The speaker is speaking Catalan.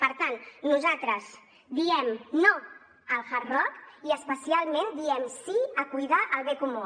per tant nosaltres diem no al hard rock i especialment diem sí a cuidar el bé comú